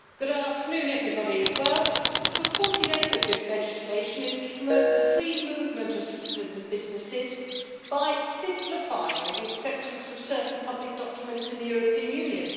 Mr President, the purported aim of this legislation is to promote the free movement of citizens and businesses by simplifying the acceptance of certain public documents in the European Union.